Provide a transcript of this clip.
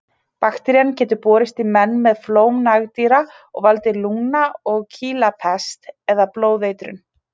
Bakterían getur borist í menn með flóm nagdýra og valdið lungna- og kýlapest eða blóðeitrun.